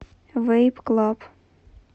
вэйп клаб